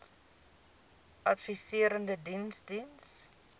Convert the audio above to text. adviserende diens diens